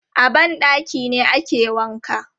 A ban ɗaki ne ake wanka.